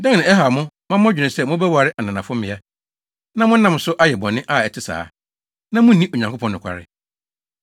Dɛn na ɛhaw mo ma modwene sɛ mobɛware ananafo mmea, na monam so ayɛ bɔne a ɛte saa, na munni Onyankopɔn nokware?